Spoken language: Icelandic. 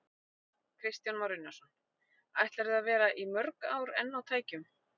Kristján Már Unnarsson: Ætlarðu að vera í mörg ár enn á tækjum?